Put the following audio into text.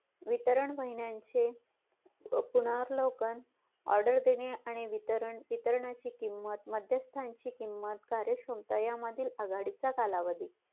वितरण महिन्याचे पुनर्वलोकन order देणे आणि वितरणाची किंमत मध्यस्ताची किंमत कार्य क्षमता यामधील आघाडीचा कालावधी